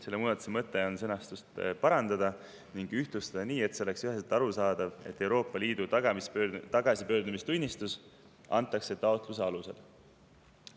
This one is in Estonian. Selle muudatuse mõte on sõnastust parandada ning ühtlustada nii, et oleks üheselt arusaadav, et Euroopa Liidu tagasipöördumistunnistus antakse taotluse alusel.